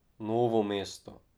Novo mesto.